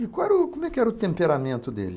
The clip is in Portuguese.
E qual era o, como é que era o temperamento dele?